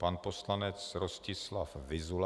Pan poslanec Rostislav Vyzula.